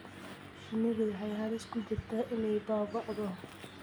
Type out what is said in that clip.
Shinnidu waxay halis ugu jirtaa inay baaba'do.